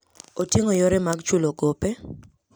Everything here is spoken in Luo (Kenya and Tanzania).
Oting'o yore mag chulo gope.